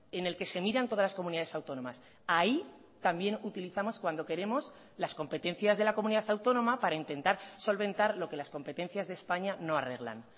en el que se miran todas las comunidades autónomas ahí también utilizamos cuando queremos las competencias de la comunidad autónoma para intentar solventar lo que las competencias de españa no arreglan